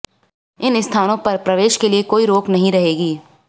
इन स्थानों पर प्रवेश के लिये कोई रोक नही रहेगी